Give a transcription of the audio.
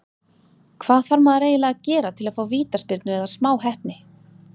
Hvað þarf maður eiginlega að gera til að fá vítaspyrnu eða smá heppni?